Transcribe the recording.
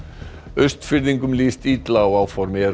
Austfirðingum líst illa á áform